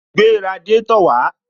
Gbé radiátò wàá